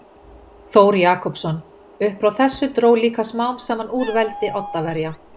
Þór Jakobsson Upp frá þessu dró líka smám saman úr veldi Oddaverja.